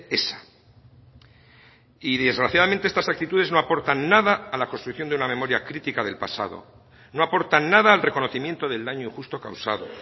esa y desgraciadamente estas actitudes no aportan nada a la construcción de una memoria crítica del pasado no aportan nada al reconocimiento del daño injusto causado